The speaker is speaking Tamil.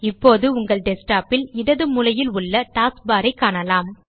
இப்போது உங்கள் Desktopல் இடது மூலையில் உள்ள Taskbarஐ காணலாம்